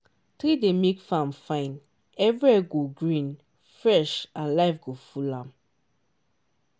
tree dey make farm fine everywhere go green fresh and life go full am